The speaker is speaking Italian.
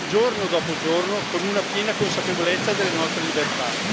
giorno dopo giorno, con una piena consapevolezza delle nostre libertà.